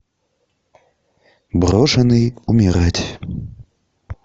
брошенный умирать